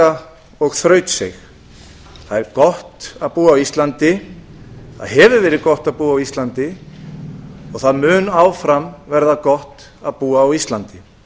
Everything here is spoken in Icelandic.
samstaða og þrautseig það er gott að búa á íslandi það hefur verið gott að búa á íslandi og það mun áfram verða gott að búa á íslandi